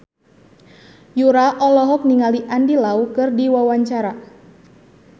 Yura olohok ningali Andy Lau keur diwawancara